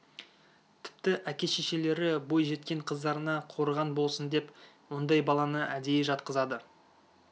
тіпті әке-шешелері бой жеткен қыздарына қорған болсын деп ондай баланы әдейі жатқызады